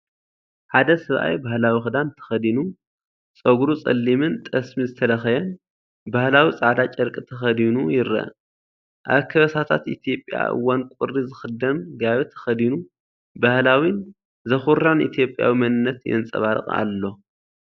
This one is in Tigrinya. ሓደ ሰብኣይ ባህላዊ ክዳን ተኸዲኑ፣ ጸጉሩ ጸሊምን ጠስሚ ዝተለኸየን፣ ባህላዊ ጻዕዳ ጨርቂ ተኸዲኑ ይርአ፤ ኣብ ከበሳታት ኢትዮጵያ ኣብ እዋን ቁሪ ዝኽደን ጋቢ ተኸዲኑ። ባህላዊን ዘኹርዕን ኢትዮጵያዊ መንነት የንፀባርቕ ኣሎ።